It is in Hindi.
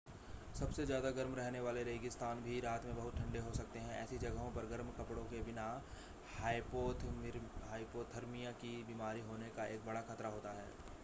सबसे ज़्यादा गर्म रहने वाले रेगिस्तान भी रात में बहुत ठंडे हो सकते हैं ऐसी जगहों पर गर्म कपड़ों के बिना हाइपोथर्मिया की बीमारी होने का एक बड़ा ख़तरा होता है